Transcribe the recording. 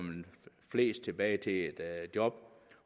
flest tilbage i job